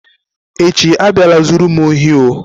Echi abịala zuru m ohi oh.